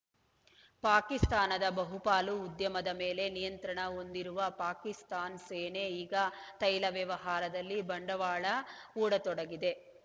ಪಾಕಿಸ್ತಾನದ ಬಹುಪಾಲು ಉದ್ಯಮದ ಮೇಲೆ ನಿಯಂತ್ರಣ ಹೊಂದಿರುವ ಪಾಕಿಸ್ತಾನ ಸೇನೆ ಈಗ ತೈಲ ವ್ಯವಹಾರದಲ್ಲಿ ಬಂಡವಾಳ ಹೂಡ ತೊಡಗಿದೆ